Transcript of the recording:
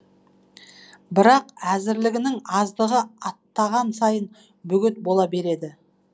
бірақ әзірлігінің аздығы аттаған сайын бөгет бола береді